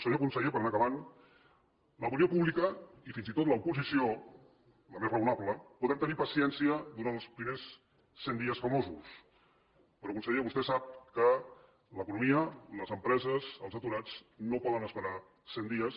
senyor conseller per anar acabant l’opinió pública i fins i tot l’oposició la més raonable podem tenir paciència durant els primers cent dies famosos però conseller vostè sap que l’economia les empreses els aturats no poden esperar cent dies